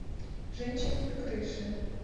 женщины на крыше